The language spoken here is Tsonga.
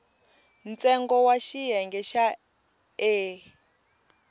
ntsengo wa xiyenge xa e